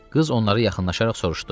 Qız onları yaxınlaşaraq soruşdu.